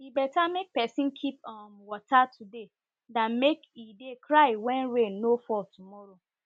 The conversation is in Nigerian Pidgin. e beta make pesin keep um water today than make e dey cry when rain no fall tomorrow